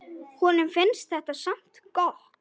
Honum finnst þetta samt gott.